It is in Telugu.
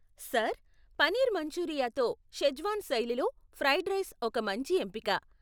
సార్, పనీర్ మంచూరియాతో షెజ్వాన్ శైలిలో ఫ్రైడ్ రైస్ ఒక మంచి ఎంపిక.